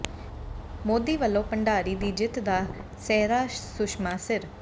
ਮੋਦੀ ਵਲੋਂ ਭੰਡਾਰੀ ਦੀ ਜਿੱਤ ਦਾ ਸਿਹਰਾ ਸੁਸ਼ਮਾ ਸਿਰ